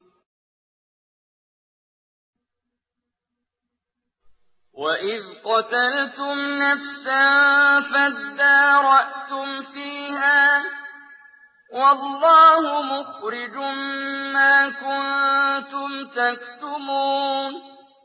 وَإِذْ قَتَلْتُمْ نَفْسًا فَادَّارَأْتُمْ فِيهَا ۖ وَاللَّهُ مُخْرِجٌ مَّا كُنتُمْ تَكْتُمُونَ